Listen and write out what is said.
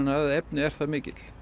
af efni er það mikill